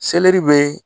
Selɛri bɛ